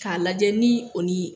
K'a lajɛ ni o ni